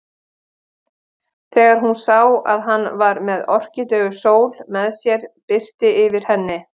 Þegar hún sá að hann var með Orkídeu Sól með sér birti yfir henni.